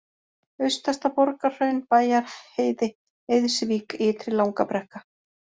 Austasta-Borgarhraun, Bæjarheiði, Eiðsvík, Ytri-Langabrekka